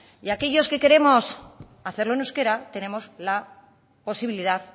y aquellos que queremos hacerlo en euskera tenemos la posibilidad